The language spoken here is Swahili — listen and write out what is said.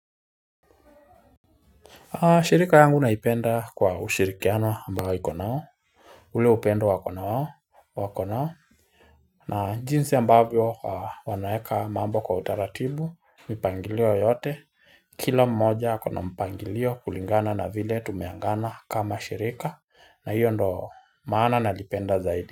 Shirika yangu naipenda kwa ushirikiana ambayo iko nayo ule upendo wako nao na jinsi ambavyo wanaeka mambo kwa utaratibu mipangilio yote Kila mmoja akona mpangilio kulingana na vile tumeagana kama shirika na hiyo ndo maana nalipenda zaidi.